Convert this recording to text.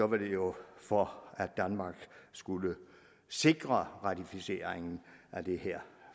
det jo for at danmark skulle sikre ratificeringen af det her